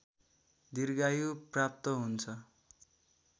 दीर्घायु प्राप्त हुन्छ